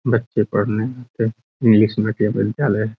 बच्चे पढ़ने आते हैं इंग्लिश मीडियम का विद्यालय है।